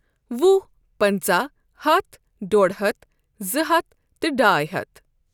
وُہ پنٛژاہ ہتھ ڈۄڈ ہتھ زٕ ہتھ تہٕ ڈاے ہتھ۔